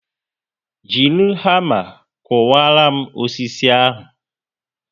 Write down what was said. Jiri hama kuwara m osisi a